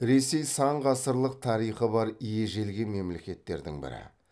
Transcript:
ресей сан ғасырлық тарихы бар ежелгі мемлекеттердің бірі